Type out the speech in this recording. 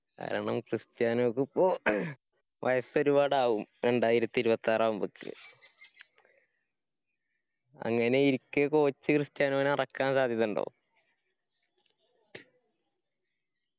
കാരണം ക്രിസ്റ്റിയാനോക്ക് ഇപ്പൊ അഹ് വയസ്സ് ഒരുപാടാവും രണ്ടായിരത്തി ഇരുപത്താർ ആവുമ്പക്ക് അങ്ങനെയിരിക്കെ coach ക്രിസ്റ്യാനോനെ ഇറക്കാൻ സാത്യതുണ്ടോ